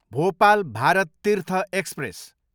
Bhopal Bharat Tirth express